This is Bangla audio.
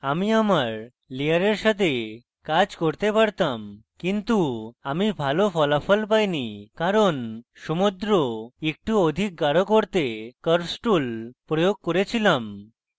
আমি আমার layer সাথে কাজ করতে পারতাম কিন্তু আমি ভালো ফলাফল পাইনি কারণ সমুদ্র একটু অধিক গাঢ় করতে curves tool প্রয়োগ করে ছিলাম